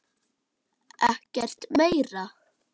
Ekkert meira?